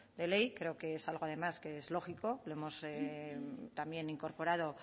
de ley creo que es algo además que es lógico lo hemos también incorporado